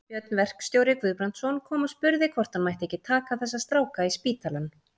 Björn verkstjóri Guðbrandsson kom og spurði hvort hann mætti ekki taka þessa stráka í spítalann.